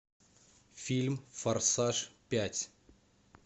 фильм форсаж пять